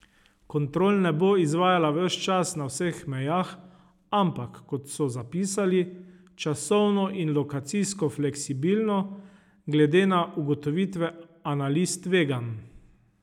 Kontrol ne bo izvajala ves čas na vseh mejah, ampak, kot so zapisali, časovno in lokacijsko fleksibilno, glede na ugotovitve analiz tveganj.